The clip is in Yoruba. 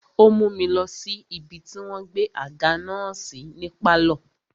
Ó mú mi lọ sí ibi tí wọ́n gbé àga náà sí ní pálọ̀.